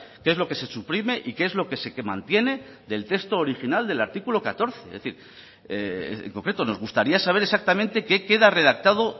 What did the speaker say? qué es lo que se suprime y que es lo que se mantiene del texto original del artículo catorce es decir en concreto nos gustaría saber exactamente qué queda redactado